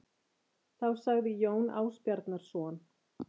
Þá sagði Jón Ásbjarnarson